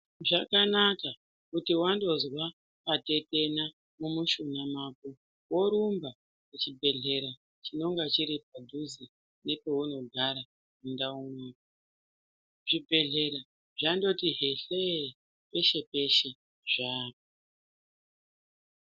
Zvakanaka kuti wandozwa patetena mumushuna mako worumba kuchibhedhleya chinenge chiri padhuze nepeunogara mundau mwako. Zvibhedhlera zvandoti hlehlehle peshe-peshe zvaapo.